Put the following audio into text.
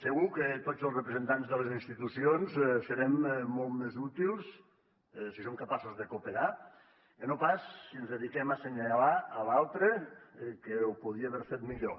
segur que tots els representants de les institucions serem molt més útils si som capaços de cooperar que no pas si ens dediquem a assenyalar l’altre que ho podia haver fet millor